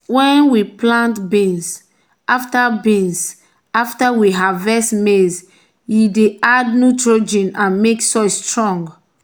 when we plant beans after beans after we harvest maize e dey add nitrogen and make soil strong.